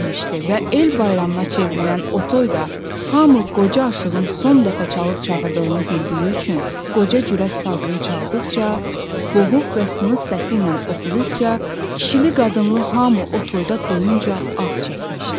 Və el bayramına çevrilən o toyda hamı qoca aşığın son dəfə çalıb-çağırdığını bildiyi üçün qoca cürə sazını çaldıqca, boğuq və sınıq səsiylə oxuduqca, kişili-qadınlı hamı o toyda doyunca ah çəkmişdi.